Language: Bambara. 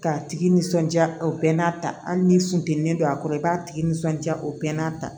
K'a tigi nisɔndiya o bɛɛ n'a ta hali ni funtɛni don a kɔrɔ i b'a tigi nisɔndiya o bɛɛ n'a ta